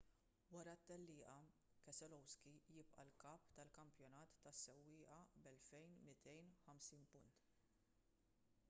wara t-tellieqa keselowski jibqa’ l-kap tal-kampjonat tas-sewwieqa b’2,250 punt